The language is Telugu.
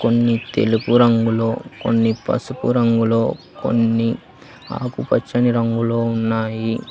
కొన్ని తెలుపు రంగులో కొన్ని పసుపు రంగులో కొన్ని ఆకుపచ్చని రంగులో ఉన్నాయి.